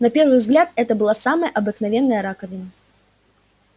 на первый взгляд это была самая обыкновенная раковина